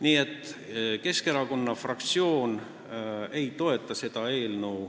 Nii et Keskerakonna fraktsioon ei toeta seda eelnõu.